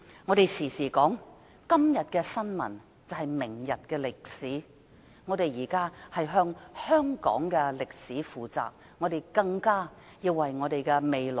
我經常說，今天的新聞，就是明天的歷史，我們現在要為香港的歷史負責，更一定要為我們的下一代負責。